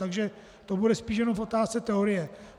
Takže to bude spíše jen v otázce teorie.